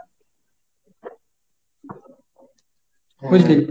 বুঝলি?